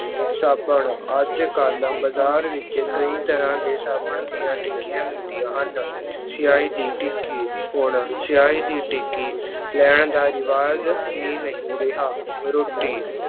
ਸਾਬਣ ਅੱਜ ਕੱਲ੍ਹ ਬਾਜ਼ਾਰ ਵਿੱਚ ਕਈ ਤਰ੍ਹਾਂ ਦੇ ਸਾਬਣ ਦੀਆਂ ਟਿੱਕੀਆਂ ਮਿਲਦੀਆਂ ਹਨ ਛਿਆਹੀ ਦੀ ਟਿੱਕੀ, ਹੁਣ ਛਿਆਹੀ ਦੀ ਟਿੱਕੀ ਲੈਣ ਦਾ ਰਿਵਾਜ਼ ਹੀ ਨਹੀਂ ਰਿਹਾ, ਰੋਟੀ